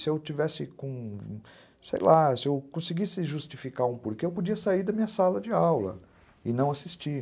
Se eu conseguisse justificar um porquê, eu podia sair da minha sala de aula e não assistir.